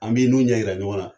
An b'i n'u ɲɛ yira ɲɔgɔnna.